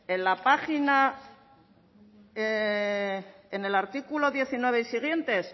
en la página en el artículo diecinueve y siguientes